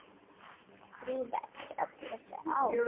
Drífu eftir öll þessi ár.